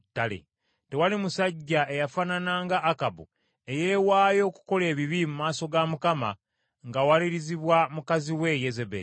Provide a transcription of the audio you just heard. Tewali musajja eyafaanana nga Akabu, eyeewaayo okukola ebibi mu maaso ga Mukama ng’awalirizibwa mukazi we Yezeberi.